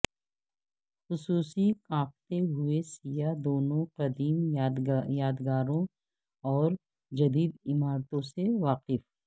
خصوصی کانپتے ہوئے سیاح دونوں قدیم یادگاروں اور جدید عمارتوں سے واقف